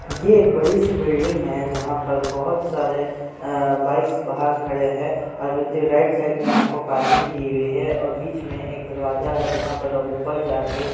यह एक बड़ी सी बिल्डिंग है जहाँ पर बहुत सारे अ बाईक्स बाहर खड़े है और राइट साइड में आपको पार्किंग दी हुई है और बीच में एक दरवाजा है जहाँ पर आप ऊपर जाके --